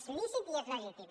és lícit i és legítim